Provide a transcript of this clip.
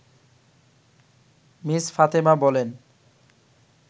miss Fatema বলেন